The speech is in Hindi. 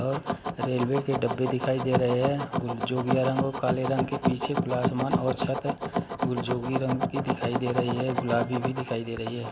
ओर रेल्वे के डब्बे दिखाई दे रहे है गुल जोगिया रंग और काले रंग के पीछे खुला आसमान और छत गुलजोगी रंग की दिखाई दे रही है गुलाबी भी दिखाई दे रही है।